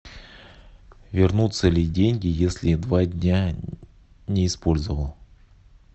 вернутся ли деньги если два дня не использовал